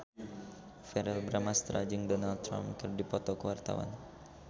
Verrell Bramastra jeung Donald Trump keur dipoto ku wartawan